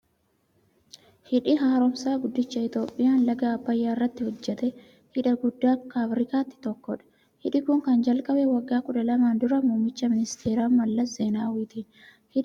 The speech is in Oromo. Hidhi haaromsaa guddichi Itiyoophiyaan laga abbayyaaratti hojjatte, hidha guddaa akka afrikaatti tokkodha. Hidhi kun kan jalqabe waggaa kudha lamaan dura muummicha ministeera Mallas Zeenaawitiin. Hidhi kun dhiyeenya kana ji'a fulbaanaa keessa eebbifame.